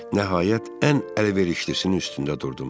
Nəhayət, ən əlverişlisinin üstündə durdum.